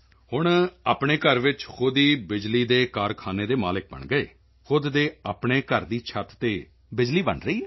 ਹੁਣ ਆਪਣੇ ਘਰ ਵਿੱਚ ਹੀ ਖ਼ੁਦ ਹੀ ਬਿਜਲੀ ਦੇ ਕਾਰਖਾਨੇ ਦੇ ਮਾਲਕ ਬਣ ਗਏ ਖ਼ੁਦ ਦੇ ਆਪਣੇ ਘਰ ਦੀ ਛੱਤ ਤੇ ਬਿਜਲੀ ਬਣ ਰਹੀ ਹੈ